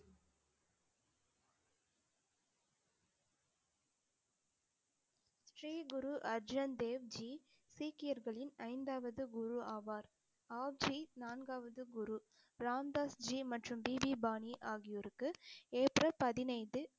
ஸ்ரீ குரு அர்ஜன் தேவ்ஜி சீக்கியர்களின் ஐந்தாவது குரு ஆவார், நான்காவது குரு ராம்தாஸ்ஜி மற்றும் பிபி பாணி ஆகியோருக்கு ஏப்ரல் பதினைந்து